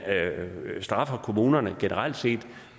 straffer kommunerne generelt